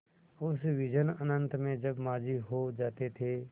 उस विजन अनंत में जब माँझी सो जाते थे